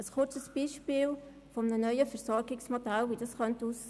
Ich nenne Ihnen ein Beispiel dafür, wie ein neues Versorgungsmodell aussehen könnte: